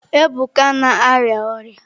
Ebuka na-arịa ọrịa.